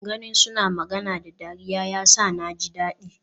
Ganin suna magana da dariya yasa naji dadi.